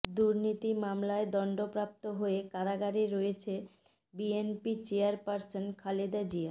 দুর্নীতি মামলায় দণ্ডপ্রাপ্ত হয়ে কারাগারে রয়েছেন বিএনপি চেয়ারপার্সন খালেদা জিয়া